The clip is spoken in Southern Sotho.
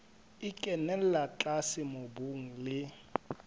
e kenella tlase mobung le